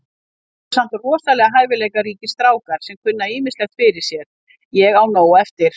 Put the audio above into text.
Hér eru samt rosalega hæfileikaríkir strákar sem kunna ýmislegt fyrir sér. Ég á nóg eftir.